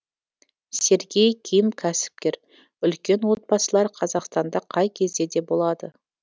сергей ким кәсіпкер үлкен отбасылар қазақстанда қай кезде де болады